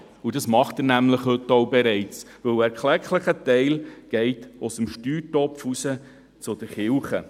Das tut er bereits heute, denn ein erklecklicher Teil fliesst aus dem Steuertopf zu den Kirchen.